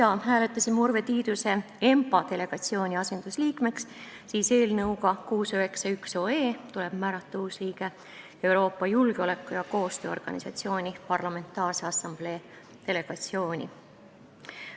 Kuna äsja hääletasime Urve Tiiduse ENPA delegatsiooni asendusliikmeks, siis eelnõuga 691 tuleb määrata uus liige Euroopa Julgeoleku- ja Koostööorganisatsiooni Parlamentaarse Assamblee delegatsiooni.